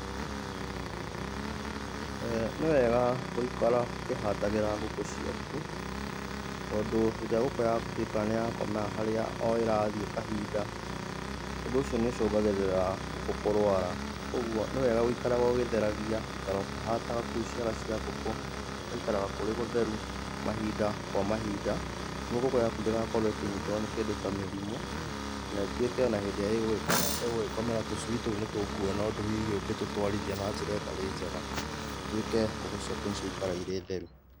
Nĩwega gũikara ũkĩhatagĩra ngũkũ ciaku, tondũ hĩndĩ ĩrĩa ngũkũ yaku ĩtuĩkaga nĩ yakomera harĩa o ĩrathiĩ kahinda, ũndũ ũcio nĩ ũcũgagĩrĩra ngũkũ kũrwara, koguo nĩ wega giũkara ũgĩtheragia, gũikara ũkĩhataga kou ciaga cia ngũkũ, gũgaikaraga kũrĩ gũtheru mahinda kwa mahinda, nĩguo ngũkũ yaku ndĩgakorwo ĩkĩnyitwo nĩ kĩndũ ta mĩrimũ kana ĩtuĩke o na hĩndĩ ĩrĩa ĩgũgĩkomera tũcui tou nĩ tũkuona ũndũ hihi ũngĩtũtwarithia na njĩra ĩtarĩ njega, ĩtuĩke ngũkũ ciaku nĩ ciakira irĩ theru.